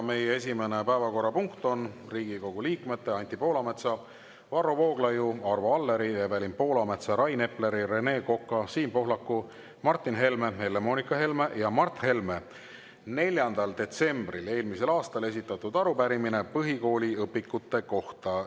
Meie esimene päevakorrapunkt on Riigikogu liikmete Anti Poolametsa, Varro Vooglaiu, Arvo Alleri, Evelin Poolametsa, Rain Epleri, Rene Koka, Siim Pohlaku, Martin Helme, Helle-Moonika Helme ja Mart Helme 4. detsembril eelmisel aastal esitatud arupärimine põhikooli õpikute kohta.